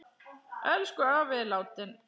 Elsku afi er látinn.